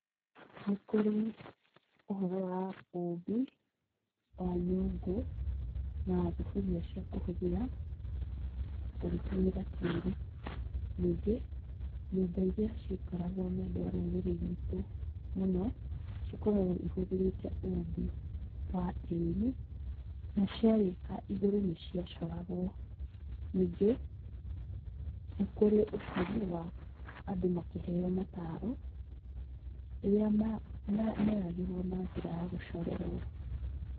Nĩ kũrĩ ũhoro wa ũmbi wa nyũngũ na thuburia cia kũhũthĩra ũgĩtũmĩra tĩri ningĩ nyũmba iria cia ikaragwo nĩ andũ a rũrĩrĩ ruitũ mũno cikoragwo ihũthĩrĩte ũmbi wa tĩri na cia rĩka igũrũ nĩ cia coragwo ningĩ nĩ kũrĩ ũhoro wa andũ makĩheo mataro rĩrĩa meragĩrwo na njĩra ya gũcorerwo.